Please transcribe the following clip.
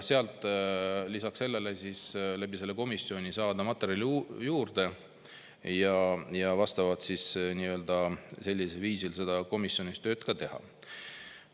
Lisaks loodan selle komisjoni abil saada materjali juurde ja komisjonis tööd teha.